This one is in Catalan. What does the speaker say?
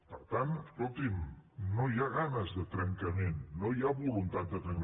per tant escolti’m no hi ha ganes de trencament no hi ha voluntat de trencament